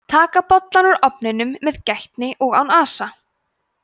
taka bollann úr ofninum með gætni og án asa